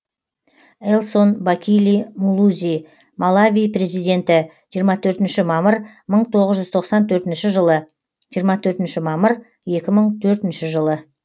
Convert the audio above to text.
элсон бакили мулузи малави президенті жиырма төртінші мамыр мың тоғыз жүз тоқсан төртінші жылы жиырма төртінші мамыр екі мың төртінші жылы